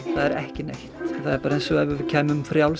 það er ekki neitt það er bara eins og við kæmum frjáls